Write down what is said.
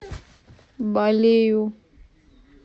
балею